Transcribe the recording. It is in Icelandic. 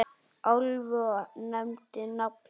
Álfi og nefndi nafn hans.